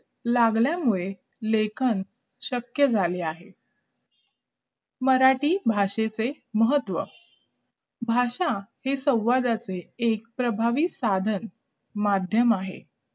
लागल्यामुळे लेखन हे शक्य झालं आहे मराठी भाषेचे महत्व भाषा हे संवादाचे एकप्रभावी साधन माध्यम आहे